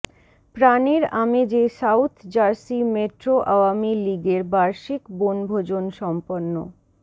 প্রানের আমেজে South Jersey Metro Awami League এর বার্ষিক বনভোজন সম্পন্ন